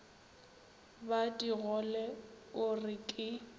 ba digole o re ke